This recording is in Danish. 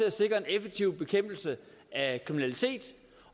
at sikre effektiv bekæmpelse af kriminalitet